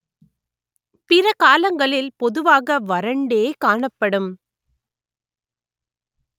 பிற காலங்களில் பொதுவாக வறண்டே காணப்படும்